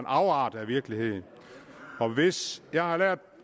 afart af virkeligheden jeg har lært